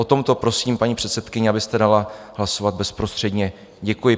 O tomto prosím, paní předsedkyně, abyste dala hlasovat bezprostředně, děkuji.